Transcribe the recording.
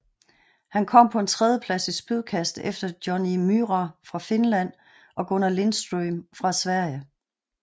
Han kom på en tredjeplads i spydkast efter Jonni Myyrä fra Finland og Gunnar Lindström fra Sverige